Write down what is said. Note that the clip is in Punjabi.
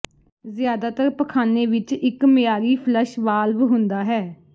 ਜ਼ਿਆਦਾਤਰ ਪਖਾਨੇ ਵਿੱਚ ਇੱਕ ਮਿਆਰੀ ਫਲੱਸ਼ ਵਾਲਵ ਹੁੰਦਾ ਹੈ